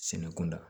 Sɛnɛ kun da